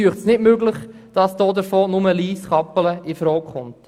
Ich finde, es ist nicht möglich, dass davon nur Lyss/Kappelen in Frage kommt.